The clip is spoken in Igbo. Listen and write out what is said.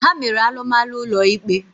Ha mere alụmalụ ụlọ ikpe.